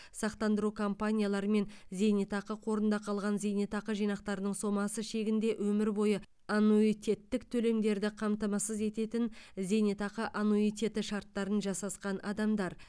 сақтандыру компанияларымен зейнетақы қорында қалған зейнетақы жинақтарының сомасы шегінде өмір бойы аннуитеттік төлемдерді қамтамасыз ететін зейнетақы аннуитеті шарттарын жасасқан адамдар